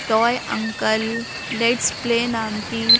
toy uncle let's play नाम की--